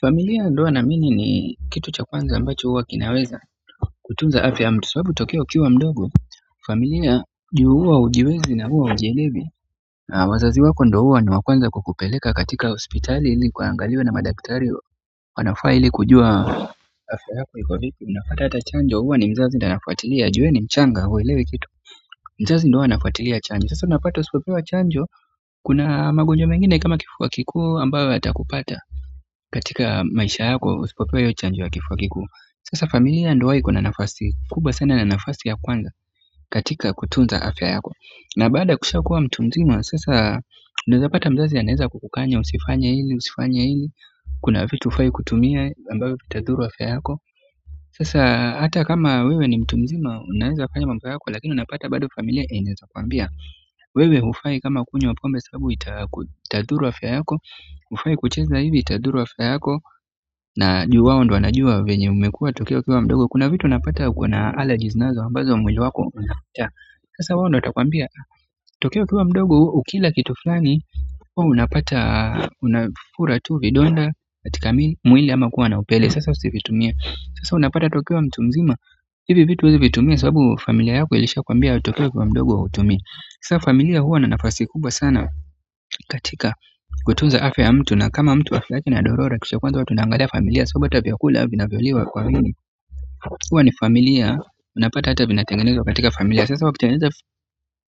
Familia ndoa naamini ni kitu cha kwanza ambacho huwa kinaweza kutunza afya ya mtu sababu tokea ukiwa mdogo familia juu huwa hujiwezi na huwa hujielewi na wazazi wako ndio huwa ni wa kwanza kukupeleka katika hospitali ili ukangaliwe na madaktari wanafaa ili kujua afya yako iko vipi unapata hata chanjo huwa ni mzazi ndiye anafuatilia jue wewe ni mchanga huwelewi kitu mzazi ndiye huwa anafuatilia chanjo sasa unapata usipopewa chanjo kuna magonjwa mengine kama kifua kikuu ambayo yata kupata katika maisha yako usipopewa hiyo chanjo ya kifia kikuu sasa familia ndio huwa iko na nafasi kubwa sana na nafasi ya kwanza katika kutunza afya yako na baada ukwisha kuwa mtu mzima sasa unawezapata mzazi anaeza kukukanya usifanye hili, usifanye hili kuna vitu hufai kutumia vitadhuru afya yako sasa hata kama wewe ni mtu mzima unaweza fanya mambo yako lakini unapata familia inaweza kwambia wewe hufai kama kunywa pombe sababu itadhuru afya yako, hufai kucheza hivi itadhuru afya yako na juu wao ndio wanajua venye umekuwa tokea ukiwa mdogo kuna vitu unapata uko na allergies nazo ambazo mwili wako, sasa wao ndio watakwambia tokea ukiwa mdogo ukila kitu fulani unapata unafura tu vidonda katika mwili ama kuwa na upele sasa unapata hata ukiwa mtu mzima hivi vitu usivitumie sababu familia yako ilisha kwambia tokea ukiwa mdogo hutumii sasa familia huwa na nafasi kubwa sana katika kutunza afya mtu na kama mtu afya yake inadorora kitu cha kwanza huwa tunangalia familia sababu hata vyakula vinavyo liwa kwa wingi huwa ni familia unapata hata vina tengenezwa katika familia sasa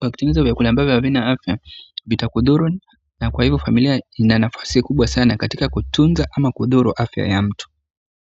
wakiteneza vyakula ambavyo havina afya vita kudhuru na kwa hivo familia inanafasi kubwa sana katika kutunza ama kudhuru afya ya mtu.